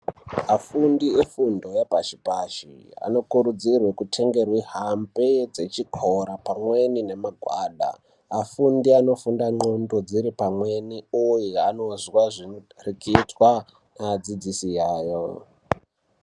Afundi efundo yapashi-pashi, anokurudzirwe kutenge mihambe dzechikora pamweni nemagwada. Afundi anofunda ndxondo dziri pamweni, uye anozwa zvinotarichitwa, nevadzidzisi yayo.